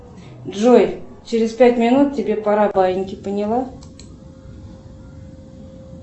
джой через пять минут тебе пора баиньки поняла